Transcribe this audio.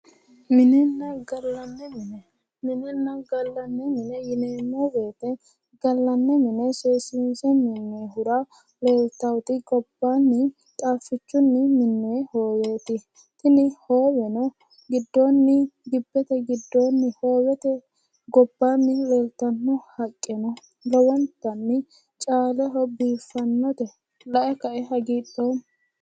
minenna gallani mine yinemmo woyite gallanni mine seesinse minohura leellitannoti qaafichunni minoyi hooweti tini hooweno giddonni gibete giddoni leellitano haqqeno caaleho biiffanote la'e kaeno lowontanni haagidhoomma